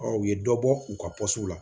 u ye dɔ bɔ u ka la